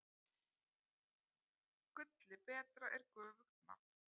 Gulli betra er göfugt nafn.